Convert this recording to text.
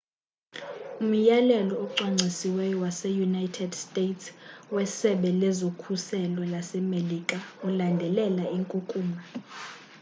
umyalelo ocwangcisiweyo wase-united states wesebe lezokhuselo lasemelika ulandelela inkunkuma